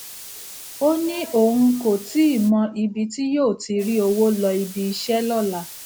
ó ní òun kò tíì mọ ibi tí yóò ti rí owó lọ ibi iṣẹ lóla